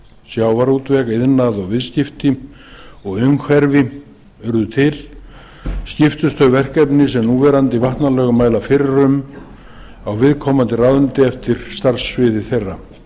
sjávarútveg iðnað viðskipti og umhverfi urðu til skiptust þau verkefni sem núverandi vatnalög mæla fyrir um á viðkomandi ráðuneyti eftir starfssviði þeirra